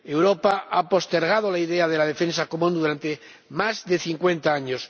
Europa ha postergado la idea de la defensa común durante más de cincuenta años.